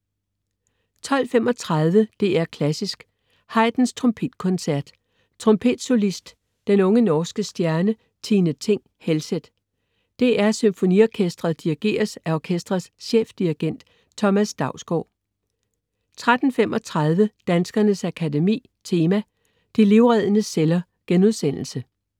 12.35 DR Klassisk: Haydns Trompetkoncert. Trompetsolist: den unge norske stjerne, Tine Thing Helseth. DR SymfoniOrkestret dirigeres af orkestrets chefdirigent, Thomas Dausgaard 13.35 Danskernes Akademi Tema: De livreddende celler*